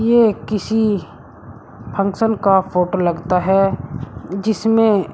यह किसी फंक्शन का फोटो लगता है जिसमें--